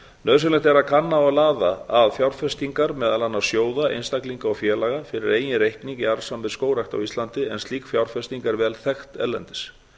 nauðsynlegt er að kanna og laða að fjárfestingar meðal annars sjóða einstaklinga og félaga fyrir eigin reikning í arðsamri skógrækt á íslandi en slík fjárfesting er vel þekkt erlendis